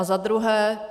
A za druhé.